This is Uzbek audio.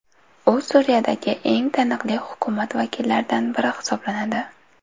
U Suriyadagi eng taniqli hukumat vakillaridan biri hisoblanadi.